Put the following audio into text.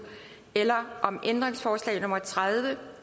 eller om ændringsforslag nummer tredive